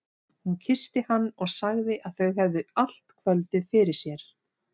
Hún kyssti hann og sagði að þau hefðu allt kvöldið fyrir sér.